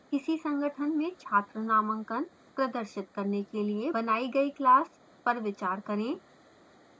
किसी संगठन में छात्र नामांकन student enrollments प्रदर्शित करने के लिए बनाई गए class पर विचार करें